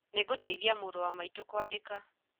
Nĩngũteithia mũrũ wa maitũ kwandĩka